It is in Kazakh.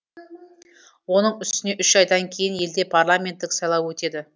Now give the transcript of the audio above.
оның үстіне үш айдан кейін елде парламенттік сайлау өтеді